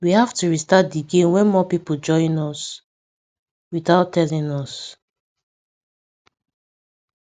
we have to restart di game when more people join us without tell us